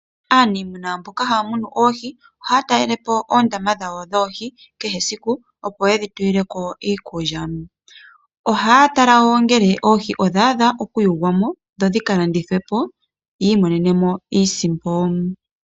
Aaniimuna mboka haya munu oohi ohaya talelepo oondama dhawo dhoohi kehe esiku, opo yedhi tulile ko iikulya. Ohaya tala wo ngele oohi odha adha okuyugwa mo, dho dhi ka landithwe po, ya imonene mo iisimpo.